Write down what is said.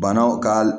Banaw ka